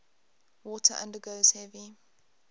water undergoes heavy